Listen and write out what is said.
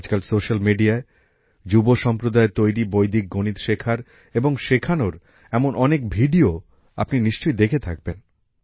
আজকাল সোশ্যাল মিডিয়ায় যুব সম্প্রদায়ের তৈরী বৈদিক গণিত শেখার এবং শেখানোর এমন অনেক ভিডিও আপনি নিশ্চয়ই দেখে থাকবেন